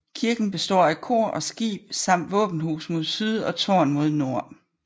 Kirken består af kor og skib samt våbenhus mod syd og tårn mod nord